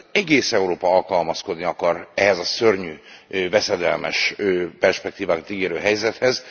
Egész Európa alkalmazkodni akar ehhez a szörnyű veszedelmes perspektívákat ígérő helyzethez.